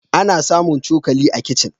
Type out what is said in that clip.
Ana samun cokali a kicin.